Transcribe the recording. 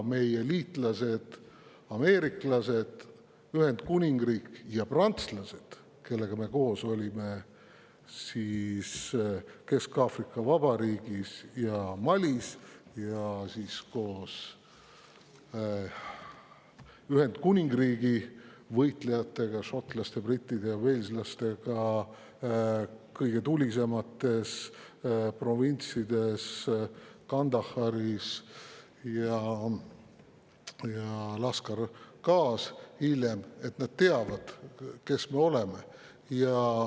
Meie liitlased ameeriklased ja Ühendkuningriik, samuti prantslased, kellega koos me olime Kesk-Aafrika Vabariigis ja Malis, ning Ühendkuningriigi võitlejad, šotlased, britid ja waleslased, kellega koos me olime kõige tulisemates provintsides Kandahāris ja hiljem Lashkargāh's, teavad, kes me oleme.